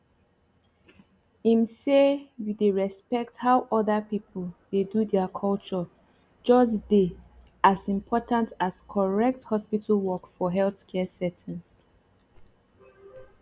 ehm say you dey respect how other people dey do their culture just dey as important as correct hospital work for healthcare settings